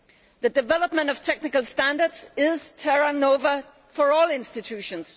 The development of technical standards is terra nova for all institutions.